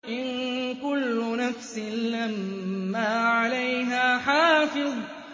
إِن كُلُّ نَفْسٍ لَّمَّا عَلَيْهَا حَافِظٌ